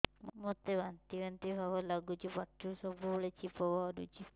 ମୋତେ ବାନ୍ତି ବାନ୍ତି ଭାବ ଲାଗୁଚି ପାଟିରୁ ସବୁ ବେଳେ ଛିପ ବାହାରୁଛି